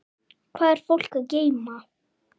Hvað er fólk að geyma?